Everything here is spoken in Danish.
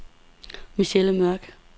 Michelle Mørk